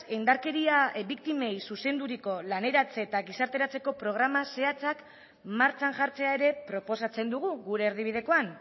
indarkeria biktimei zuzenduriko laneratze eta gizarteratzeko programa zehatzak martxan jartzea ere proposatzen dugu gure erdibidekoan